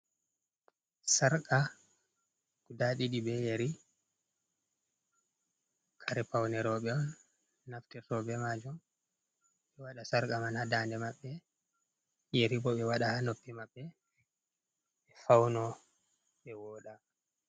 Sarka guda ɗiɗi ɓe yeri, kare paune rooɓe on naftita ɓe majum ɓe waɗa sarka man ha nda de maɓɓe, yeri bo ɓe wada ha noppi maɓɓe ɓe fauna ɓe woɗa.